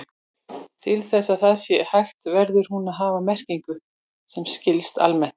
Til þess að það sé hægt verður hún þó að hafa merkingu sem skilst almennt.